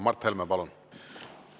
Mart Helme, palun!